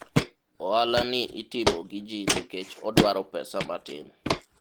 ohala ni itimo gi ji nikech odwaro pesa matin